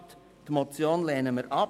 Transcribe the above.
Die Motion lehnen wir ab.